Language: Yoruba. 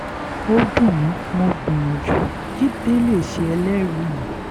ó dùn mí mo gbìyànjú jíde lè ṣe ẹlẹ́rìí mi